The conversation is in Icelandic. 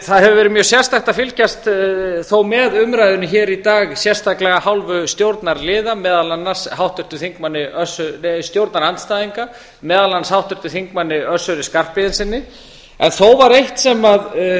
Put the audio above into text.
það hefur verið mjög sérstakt að fylgjast þó með umræðunni hér í dag sérstaklega af hálfu stjórnarandstæðinga meðal annars háttvirtum þingmanni össuri skarphéðinssyni en þó var